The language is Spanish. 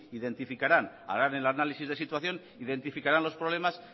identificarán harán el análisis de situación identificarán los problemas